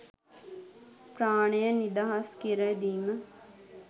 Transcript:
ප්‍රාණය නිදහස් කර දීම